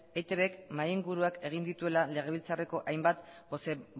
eitbk mahai inguruak egin dituela legebiltzarreko hainbat